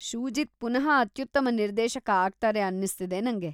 ಶೂಜಿತ್‌ ಪುನಃ ಅತ್ಯುತ್ತಮ ನಿರ್ದೇಶಕ ಆಗ್ತಾರೆ ಅನ್ನಿಸ್ತಿದೆ ನಂಗೆ.